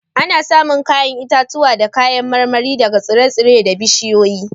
Ana samun 'ya'yan itatuwa da kayan marmari daga tsire-tsire da bishiyoyi